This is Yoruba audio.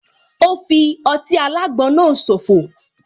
Ò fi ọtí alágbon náà so fò